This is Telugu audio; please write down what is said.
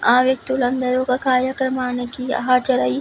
ఆ వ్యక్తులందరూ ఒక కార్యక్రమానికి హాజరయ్యి --